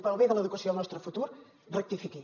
pel bé de l’educació del nostre futur rectifiqui